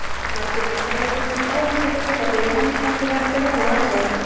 Margir mannanna fylgdust áhyggjufullir með byggðinni eins og þeir ættu von á atlögu.